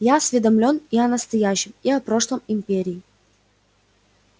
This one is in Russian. я осведомлен и о настоящем и о прошлом империи